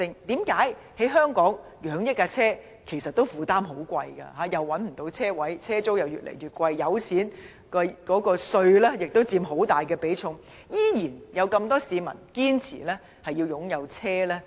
為何在香港供養一輛汽車負擔不少，車位難找，車租越來越貴，還有油錢和稅項亦佔開支很大比重，仍然有那麼多市民堅持擁有汽車？